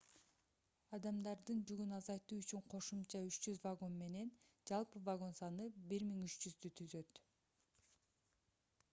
адамдардын жүгүн азайтуу үчүн кошумча 300 вагон менен жалпы вагон саны 1300 түзөт